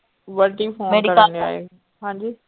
Bunty phone ਕਰਨ ਡੇਆ ਈ, ਹਾਂਜੀ।